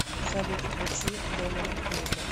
салют включи доминик миллер